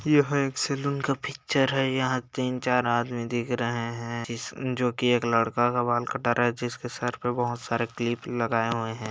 यह एक सैलून का पिक्चर है यहाँ तीन चार आदमी दिख रहे हैं जोकि एक लड़का का बाल कटा रहा है जिसके सर पर बहुत सारा क्लिप लगाये हुए हैं।